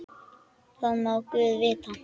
Það má guð vita.